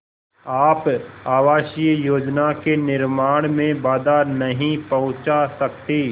आप आवासीय योजना के निर्माण में बाधा नहीं पहुँचा सकते